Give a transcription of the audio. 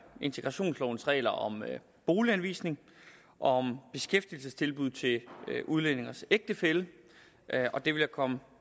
integrationslovens regler om boliganvisning om beskæftigelsestilbud til udlændinges ægtefælle og det vil jeg komme